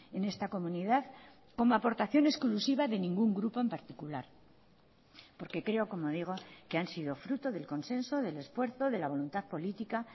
en esta comunidad como aportación exclusiva de ningún grupo en particular porque creo como digo que han sido fruto del consenso del esfuerzo de la voluntad política